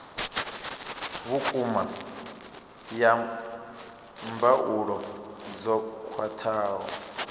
vhukuma ya mbuelo dzo khwathaho